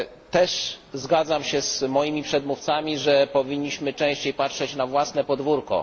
Też zgadzam się z moimi przedmówcami, że powinniśmy częściej patrzeć na własne podwórko.